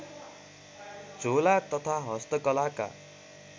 झोला तथा हस्तकलाका